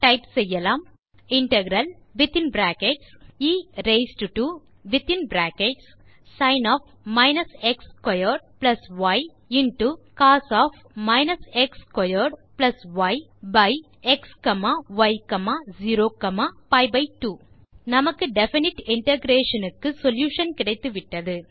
type செய்யலாம் integralஎ into cos by xy0பி2 நமக்கு டெஃபினைட் இன்டகிரேஷன் க்கு சொல்யூஷன் கிடைத்துவிட்டது